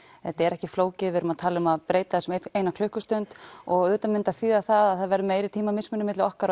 þetta er ekki flókið við erum að tala um að breyta þessu um eina klukkustund auðvitað mundi það þýða það að það verður meiri tímamismunur milli okkar